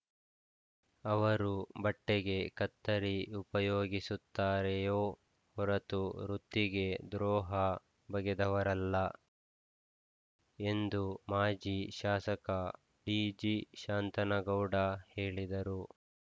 ಅವರು ಬಟ್ಟೆಗೆ ಕತ್ತರಿ ಉಪಯೋಗಿಸುತ್ತಾರೆಯೋ ಹೊರತು ವೃತ್ತಿಗೆ ದ್ರೋಹ ಬಗೆದವರಲ್ಲ ಎಂದು ಮಾಜಿ ಶಾಸಕ ಡಿಜಿಶಾಂತನಗೌಡ ಹೇಳಿದರು